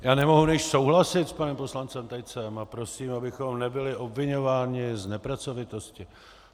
Já nemohu než souhlasit s panem poslancem Tejcem a prosím, abychom nebyli obviňováni z nepracovitosti.